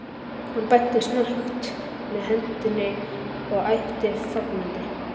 Hann benti snöggt með hendinni og æpti fagnandi